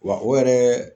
Wa o yɛrɛ